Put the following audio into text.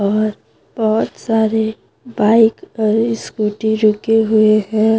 और बहुत सारे बाइक और स्कूटी रुके हुए है।